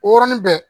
O yɔrɔnin bɛɛ